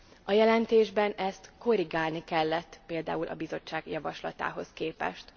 A jelentésben ezt korrigálni kellett például a Bizottság javaslatához képest.